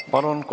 Palun!